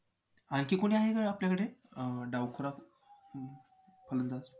आणखी कोणी आहे का आपल्याकडे अं डावखुरा अं फलंदाज